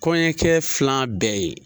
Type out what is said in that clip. Kɔɲɔkɛ filan bɛɛ ye.